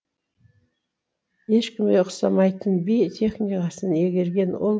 ешкімге ұқсамайтын би техникасын игерген ол